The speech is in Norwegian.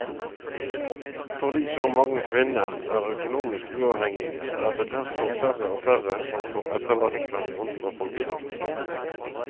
Fordi så mange kvinner er økonomisk uavhengige er det derfor færre og færre som får etterlattepensjon fra folketrygden.